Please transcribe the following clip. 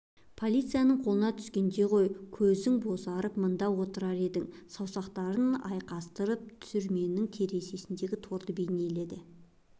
полицияның қолына түскенде ғой көзің бозарып мында отырар едің саусақтарын айқастырып түрменің терезесіндегі торды бейнеледі